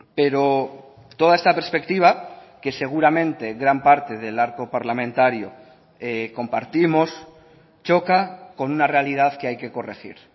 pero toda esta perspectiva que seguramente gran parte del arco parlamentario compartimos choca con una realidad que hay que corregir